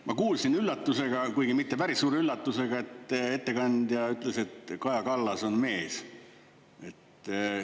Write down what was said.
Ma kuulsin üllatusega, kuigi mitte päris suure üllatusega, et ettekandja ütles, et Kaja Kallas on mees.